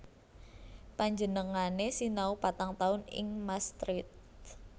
Panjenengané sinau patang taun ing Maastricht